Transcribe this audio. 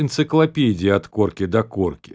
энциклопедия от корки до корки